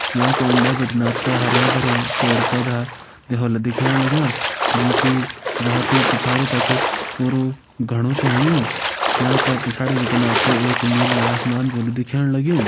यंका उंडा बिटि आप त हरयां भर्यां पेड़ पौधा भी होला दिखेण लग्यां जोकि बहोत ही पिछाड़ी तक पुरु घणो छ होयुं यांका पिछाड़ी बिटिन आप त एक नीलु आसमान भी होलु दिखेण लग्युं।